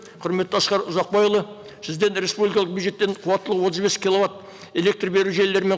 құрметті асқар ұзақбайұлы сізден республикалық бюджеттен қуаттылығы отыз бес киловатт электр беру жүйелері мен